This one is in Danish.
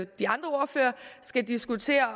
de andre ordførere skal diskutere